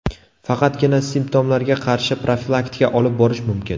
Faqatgina simptomlarga qarshi profilaktika olib borish mumkin.